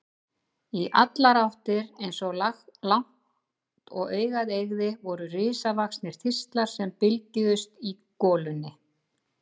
Í allar áttir, eins langt og augað eygði, voru risavaxnir þistlar sem bylgjuðust í golunni.